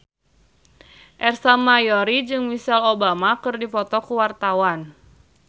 Ersa Mayori jeung Michelle Obama keur dipoto ku wartawan